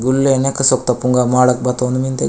गुलेहेनेक सोक्ता पुंगा माडक बातोन मिन्दे।